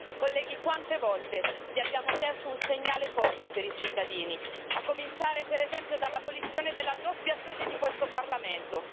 Colleghi, quante volte vi abbiamo chiesto un segnale forte per i cittadini, a cominciare per esempio dall'abolizione della doppia sede di questo Parlamento?